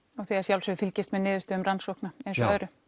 og þið fylgist með niðurstöðum rannsókna eins